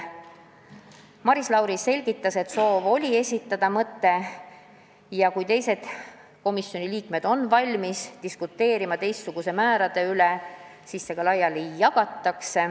Maris Lauri selgitas, et soov oli esitada mõte ja siis, kui teised komisjoni liikmed on valmis diskuteerima teistsuguste määrade üle, see ka laiali jagada.